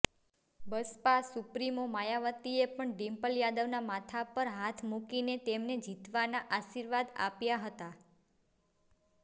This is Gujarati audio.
બસપા સુપ્રીમો માયાવતીએ પણ ડિમ્પલ યાદવના માથા પર હાથ મૂકી તેમને જીતના આર્શીવાદ આપ્યા હતા